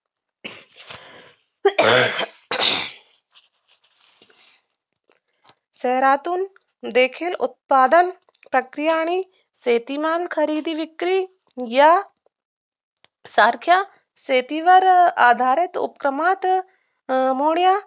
शहरातून देखील उत्पादन प्रक्रिया आणि शेतीमाल खरेदी विक्री या सारख्या शेतीवर आधारित उपक्रमात अं होण्या